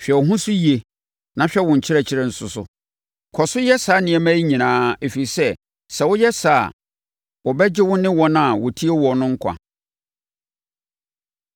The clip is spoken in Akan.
Hwɛ wo ho so yie na hwɛ wo nkyerɛkyerɛ nso so. Kɔ so yɛ saa nneɛma yi nyinaa, ɛfiri sɛ, sɛ woyɛ saa a, wobɛgye wo ho ne wɔn a wɔtie wo no nkwa.